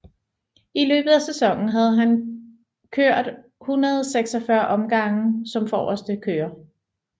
I løbet af sæsonen havde han kørt 146 omgange som forreste kører